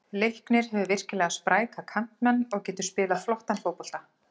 Leiknir hefur virkilega spræka kantmenn og getur spilað flottan fótbolta.